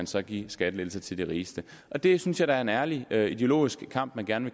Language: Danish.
så gives skattelettelser til de rigeste og det synes jeg da er en ærlig ærlig ideologisk kamp man gerne